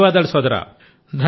ధన్యవాదాలు సోదరా